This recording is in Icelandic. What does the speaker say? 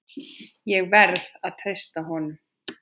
Ég verð að treysta honum.